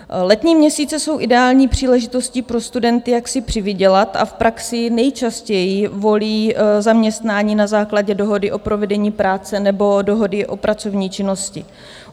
Letní měsíce jsou ideální příležitostí pro studenty, jak si přivydělat, a v praxi nejčastěji volí zaměstnání na základě dohody o provedení práce nebo dohody o pracovní činnosti.